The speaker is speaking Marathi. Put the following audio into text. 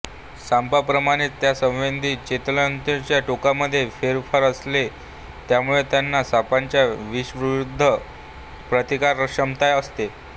सापांप्रमाणेच त्यांच्या संवेदी चेतातंतूंच्या टोकामधे फेरफार असतो त्यामुळे त्यांना सापाच्या विषाविरुद्ध प्रतिकारक्षमता असते